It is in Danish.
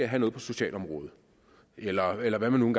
have noget på socialområdet eller eller hvad man